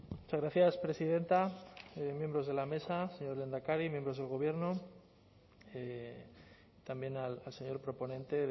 muchas gracias presidenta miembros de la mesa señor lehendakari miembros del gobierno también al señor proponente